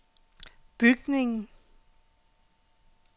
bygningen